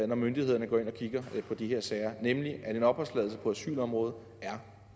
når myndighederne går ind og kigger på de her sager nemlig at at en opholdstilladelse på asylområdet er